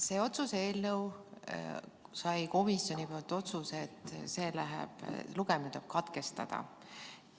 See otsuse eelnõu sai komisjonilt otsuse, et lugemine tuleb katkestada.